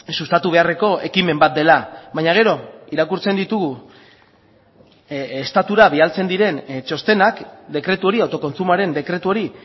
sustatu beharreko ekimen bat dela baina gero irakurtzen ditugu estatura bidaltzen diren txostenak dekretu hori autokontsumoaren dekretu hori